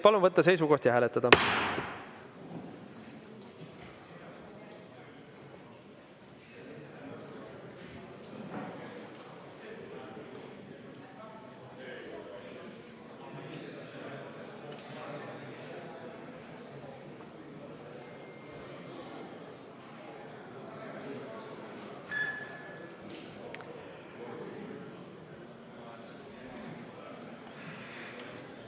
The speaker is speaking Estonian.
Palun võtta seisukoht ja hääletada!